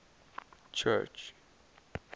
church